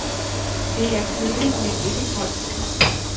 Det er køligt, men ikke koldt.